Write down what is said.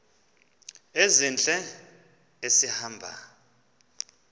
ezintle esi hamba